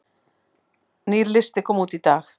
Nýr listi kom út í dag